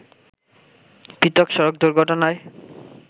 পৃথক সড়ক দুর্ঘটনায়